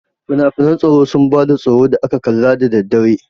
Finafinan tsoro sun ba da tsoro da aka kalla da daddare.